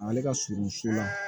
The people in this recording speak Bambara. Ale ka surun so la